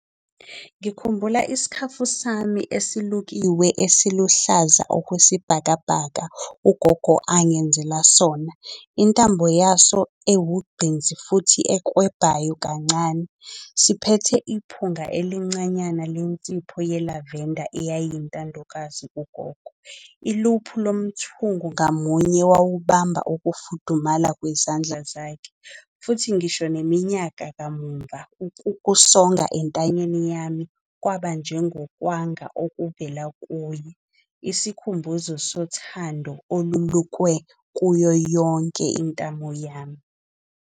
Ngikhumbula isikhafu sami esilukiwe esiluhlaza okwesibhakabhaka, ugogo angangenzela sona. Intambo yaso ewugqinsi futhi ekwebhayo kancane. Siphethe iphunga elincanyana lensipho yelavenda eyayintandokazi kugogo. Iluphu lomthungo ngamunye wawuhamba ukufudumala kwezandla zakhe. Futhi ngisho neminyaka kamumva ukukusonga entanyeni yami kwaba njengokwanga okuvela kuye. Isikhumbuzo sothando olulukwe kuyo yonke intamo yami.